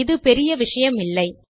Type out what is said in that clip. இது பெரிய விஷயமில்லை